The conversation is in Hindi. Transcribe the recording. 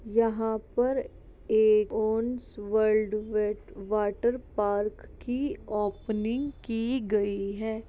यहाँ पर एक वर्ल्ड वेड वाटर पार्क की ओपनिंग की गयी है ।